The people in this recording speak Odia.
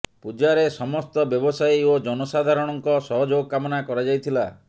ପୂଜାରେ ସମସ୍ତ ବ୍ୟବସାୟୀ ଓ ଜନସାଧାରଣଙ୍କ ସହଯୋଗ କାମନା କରାଯାଇଥିଲା